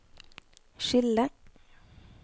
skille